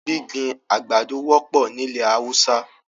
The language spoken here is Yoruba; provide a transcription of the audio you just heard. Gbigbin agbádọ̀ wọpọ̀ ni ilẹ̀ Hausa.